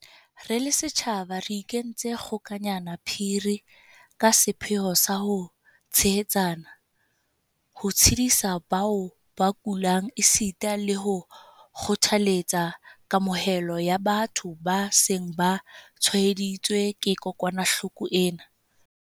Re le setjhaba re ikentse kgo-kanyana phiri ka sepheo sa ho tshehetsana, ho tshedisa bao ba kulang esita le ho kgothaletsa kamohelo ya batho ba seng ba tshwaeditswe ke kokwanahloko ena.